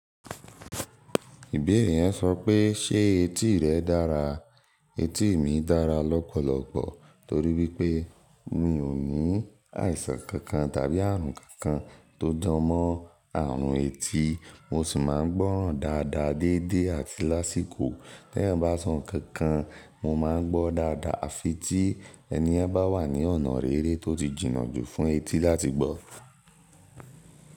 Ìbéèrè yẹn sọ pé ṣe etí rẹ̀ dára. Etí mi dára lọ́pọ̀lọpọ̀ torí wípé mi ò ní àìsàn kankan tàbí ààrùn kankan tó jọmọ́ ààrùn etí. Mo sì máa ń gbọ́ràn dáadáa dédé àti lásìkò. Tẹ́ ẹ̀yan bá sọ ǹkan kan, mo máa ń gbó dáadáa. Á fi tí ẹniyen bá wà ní ọ̀nà rere tó ti jìnnà jù fún etí láti gbọ́.